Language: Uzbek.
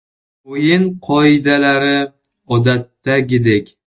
O‘yin qoidalari odatdagidek.